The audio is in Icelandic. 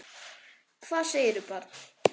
Hvað segirðu barn?